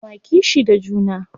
Ba ma kishi da juna.